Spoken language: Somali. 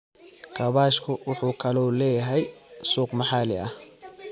Kaabashka wuxuu kaloo leeyahay suuq maxalli ah.